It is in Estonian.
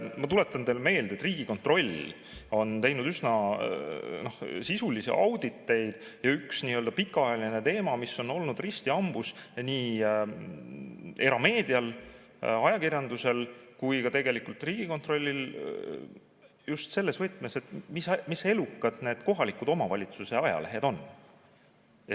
Ma tuletan teile meelde, et Riigikontroll on teinud üsna sisulisi auditeid, ja üks pikaajaline teema, mis on olnud risti hambus nii erameedial, ajakirjandusel kui ka Riigikontrollil, on just selles võtmes, et mis elukad need kohaliku omavalitsuse ajalehed on.